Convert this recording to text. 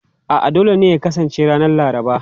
A'a, dole ne ya kasance ranar Laraba.